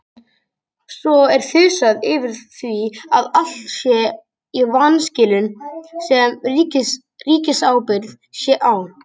Svo er þusað yfir því að allt sé í vanskilum sem ríkisábyrgð sé á.